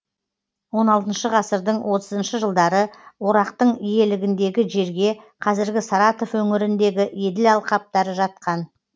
он алтыншы ғасырдың отызыншы жылдары орақтың иелігіндегі жерге қазіргі саратов өңіріндегі еділ алқаптары жатқан